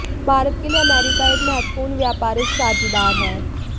भारत के लिए अमेरिका एक महत्वपूर्ण व्यापारिक साझीदार है